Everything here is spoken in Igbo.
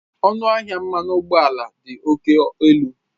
Ọnụahịa mmanụ ụgbọala dị oke elu